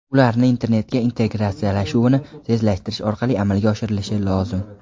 ularni internetga integratsiyalashuvini tezlashtirish orqali amalga oshirilishi lozim.